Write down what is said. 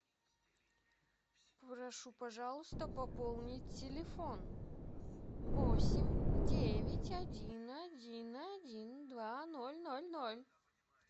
прошу пожалуйста пополнить телефон восемь девять один один один два ноль ноль ноль